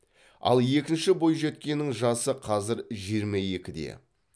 ал екінші бойжеткеннің жасы қазір жиырма екіде